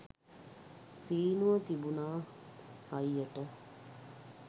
සීනුව තිබුණා හයියට